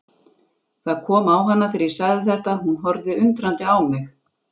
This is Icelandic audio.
Það kom á hana þegar ég sagði þetta, hún horfði undrandi á mig.